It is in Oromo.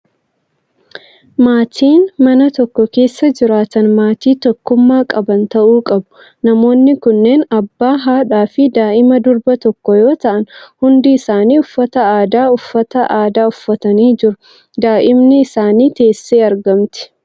Maatiin mana tokko keessa jiraatan maatii tokkummaa qaban ta'uu qabu. Namoonni kunneen abbaa, haadha fi daa'ima durbaa tokko yoo ta'an, hundi isaanii uffata aadaa uffata aadaa uffatanii jiru. Daa'imni isaanii teessee argamti.